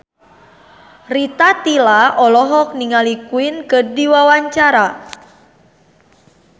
Rita Tila olohok ningali Queen keur diwawancara